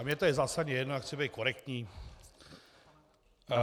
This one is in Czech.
Ale mně to je zásadně jedno, já chci být korektní.